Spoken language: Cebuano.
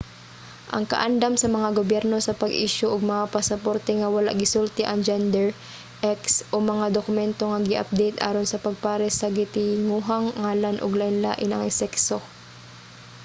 ang kaandam sa mga gobyerno sa pag-isyu og mga pasaporte nga wala gisulti ang gender x o mga dokumento nga gi-update aron sa pagpares sa gitinguhang ngalan ug lainlain ang sekso